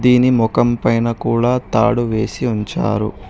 దీని మొఖం పైన కూడా తాడు వేసి ఉంచారు.